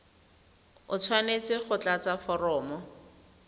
o tshwanetse go tlatsa foromo